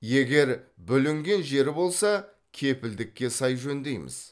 егер бүлінген жері болса кепілдікке сай жөндейміз